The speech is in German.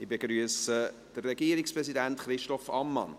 Ich begrüsse den Regierungspräsidenten Christoph Ammann.